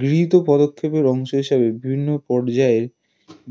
গৃহীত পদক্ষেপের অংশ হিসাবে বিভিন্ন পর্যায়ে